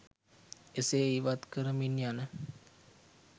එසේ ඉවත් කරමින් යන